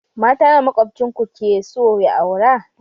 Mata nawa maƙwabcin ku keso ya aura?